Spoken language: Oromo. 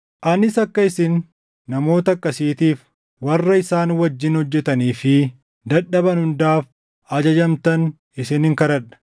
Anis akka isin namoota akkasiitiif, warra isaan wajjin hojjetanii fi dadhaban hundaaf ajajamtan isinin kadhadha.